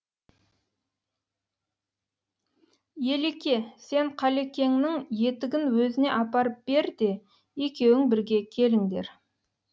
елеке сен қалекеңнің етігін өзіне апарып бер де екеуің бірге келіңдер